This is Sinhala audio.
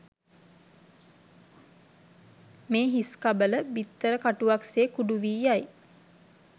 මේ හිස්කබල, බිත්තර කටුවක් සේ කුඩු වී යයි.